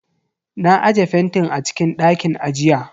Na aje fentin a cikin dakin ajiya.